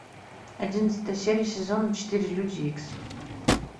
одиннадцатая серия сезона четыре люди икс